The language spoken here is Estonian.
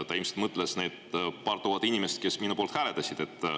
Ta ilmselt mõtles need paari tuhandet inimest, kes minu poolt hääletasid.